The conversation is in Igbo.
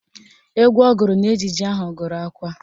Egwu ọ gụrụ n'ejije ahụ gụrụ akwa